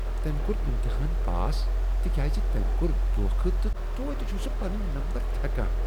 تمہِ کوٚر امتحان پاس تہ کیاز تمۍ كور دھوکھٕہ تہٕ توتہِ چھٗ سہٗ پننۍ نمبر تھیكان ۔